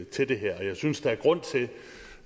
til det her og jeg synes der er grund til